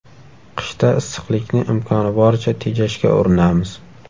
Qishda issiqlikni imkoni boricha tejashga urinamiz.